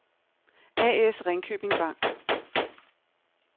A/S Ringkjøbing Bank